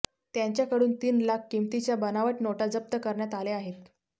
त्यांच्याकडून तीन लाख किमतीच्या बनावट नोटा जप्त करण्यात आल्या आहेत